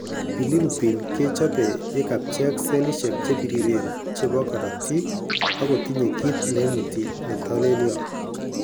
Bilirubin kechope yekapcheak selishwek chebiriren chebo korotik ak kotinye kiit neimuti netolelyo